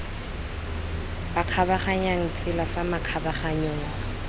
ba kgabaganyang tsela fa makgabaganyong